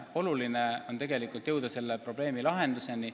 Oluline on ühiselt otsides jõuda selle probleemi lahenduseni.